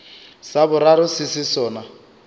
sa boraro se se sona